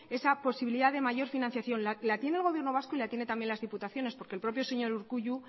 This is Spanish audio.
esa posibilidad de mayor financiación la tiene el gobierno vasco y la tienen también las diputaciones porque el propio señor urkullu